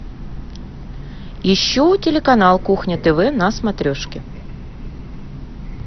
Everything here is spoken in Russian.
ищу телеканал кухня тв на смотрешке